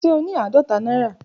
Ṣe o ni aadọta naira?